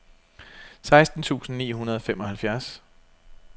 seksten tusind ni hundrede og femoghalvfems